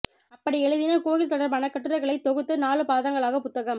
அப்படி எழுதின கோயில் தொடர்பான கட்டுரைகளைத் தொகுத்து நாலு பாகங்களாக புத்தகம்